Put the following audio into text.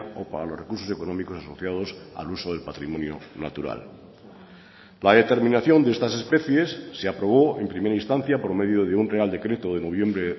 o para los recursos económicos asociados al uso del patrimonio natural la determinación de estas especies se aprobó en primera instancia por medio de un real decreto de noviembre